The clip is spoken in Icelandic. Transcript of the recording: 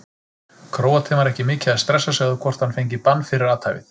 Króatinn var ekki mikið að stressa sig á hvort hann fengi bann fyrir athæfið.